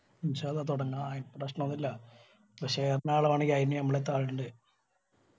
തുടങ്ങ അയില് പ്രശ്‌നോന്നില്ല ഇപ്പൊ share ന് ആല വേണെങ്കി അയിന് ഞമ്മളെത്തു ആളിണ്ട്.